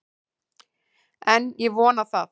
En ég vona það!